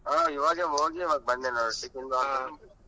ಹಾ ಇವಾಗೆ ಹೋಗಿ ಇವಾಗ್ ಬಂದೆ .